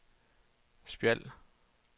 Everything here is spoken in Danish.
Spjald